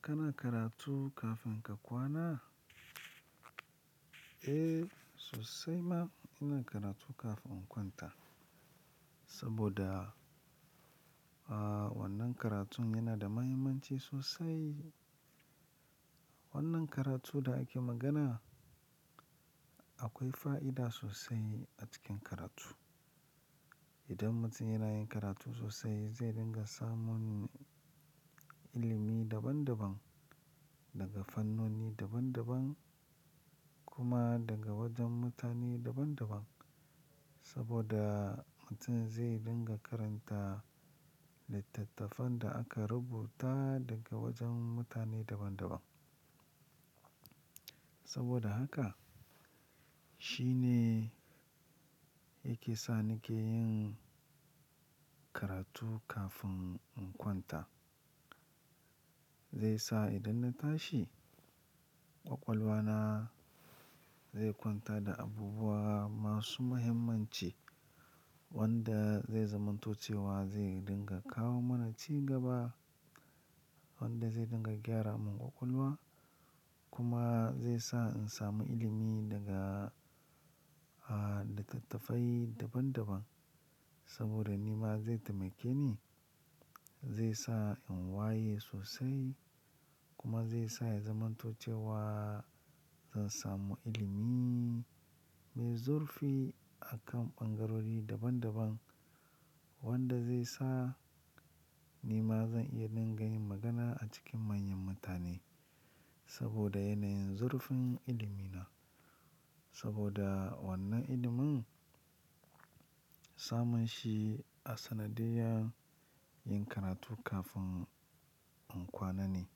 Kana karatu kafin ka kwana? Eh, sosai ma ina karatu kafin in kwanta. Saboda, ah, wannan karatun yana da mahimmanci sosai. Wannan karatun da ake magana, akwai fa'ida sosai a cikin karatu. Idan mutum yana yin karatu sosai zai dinga samun ilimi daban daban daga fannoni daban daban kuma daga wajen mutane daban daban. Saboda mutum zai dinga karanta littattafan da aka rubuta daga wajen mutane daban daban. Saboda haka shine yake sa nake yin karatu kafin in kwanta. Zai sa idan na tashi ƙwaƙwalwa na zai kwanta da abubuwa masu muhimmanci wanda zai zamantocewa zai dinga kawo mana ci gaba wanda zai dinga gyara mun ƙwaƙwalwa kuma zai sa in samu ilimi daga, ah, littattafai daban daban. Saboda ni ma zai taimake ni, zai sa in waye sosai kuma zai sa in zamantocewa zan samu ilimi mai zurfi a kan bangarori daban daban wanda zai sa ni ma zan iya dinga yin magana a cikin manyan mutane saboda yanayin zurfin ilimi na. Saboda wannan ilimin samun shi a sanadiyan yin karatu kafin in kwana ne.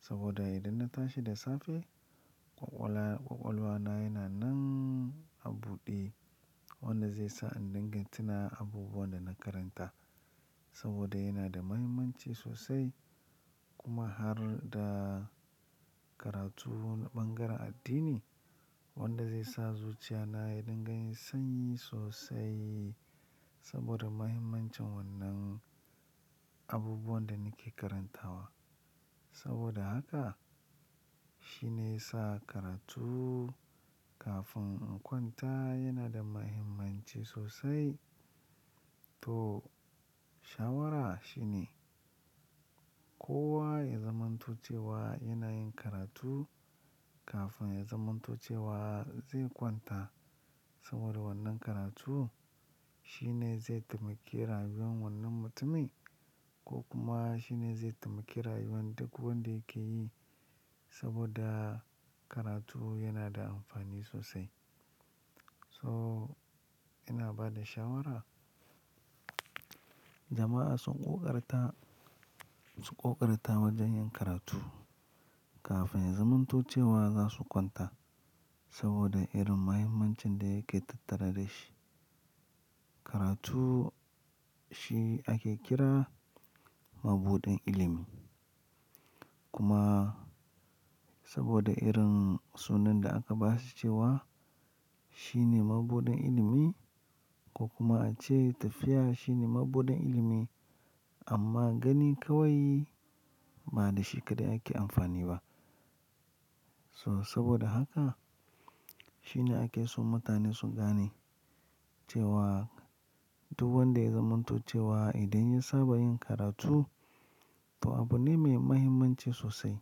Saboda idan na tashi da safe ƙwaƙwala, ƙwaƙwalwa na yana nan a buɗe wanda zai sa in dinga tuna abubuwan da na karanta. Saboda yana da mahimmanci sosai kuma har da karatu wanni bangaren addini wanda zai sa zuciya na ya dinga yin sanyi sosai saboda mahimmancin wannan abubuwan da nake karantawa. Saboda haka shine ya sa karatu kafin in kwanta yana da mahimmanci sosai. To shawara shine kowa ya zaman tocewa yana yin karatu kafin ya zaman tocewa zai kwanta saboda wannan karatu shine zai taimaki rayuwan wannan mutumin ko kuma shine zai taimake rayuwan duk wanda yake yi saboda karatu yana da amfani sosai. So ina bada shawara jama'a sun ƙoƙarta, su ƙoƙarta wajen yin karatu kafin ya zaman tocewa za su kwanta saboda irin mahimmancin da yake tattare da shi. Karatu shi ake kira mabudin ilimi. Kuma saboda irin sunan da aka ba shi cewa shine mabudin ilimi ko kuma a ce tafiya shine mabudin ilimi amma gani kawai ba da shi kaɗai ake amfani ba. So saboda haka shine ake so mutane su gane cewa duk wanda ya zamantocewa idan ya saba yin karatu to abu ne mai mahimmanci sosai,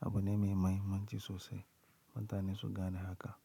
abu ne mai mahimmanci sosai. Mutane su gane haka.